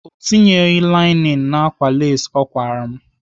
Ọ tinyeghị lainin n'ákwà lesị ọ kwara m